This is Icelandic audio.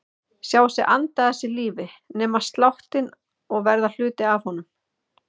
Sjá sig anda að sér lífi, nema sláttinn og verða hluti af honum.